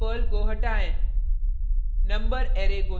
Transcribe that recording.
array से element pearl को हटाएँ